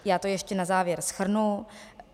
Já to ještě na závěr shrnu.